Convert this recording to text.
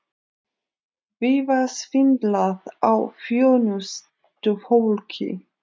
Víða svindlað á þjónustufólki